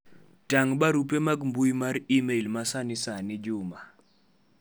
tang' barupe mag mbui mar email ma sanisani Juma